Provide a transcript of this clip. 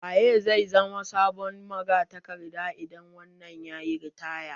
Waye zai zama sabon magatakarda idan wannan yayi ritaya?